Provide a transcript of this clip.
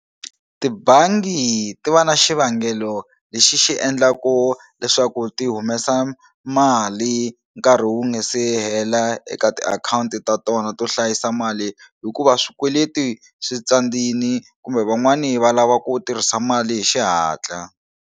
Tibangi ti va na xivangelo lexi xi endlaku leswaku ti humesa mali nkarhi wu nga se hela eka tiakhawunti ta tona to hlayisa mali hikuva swikweleti swi tsandini kumbe van'wani va lava ku tirhisa mali hi xihatla.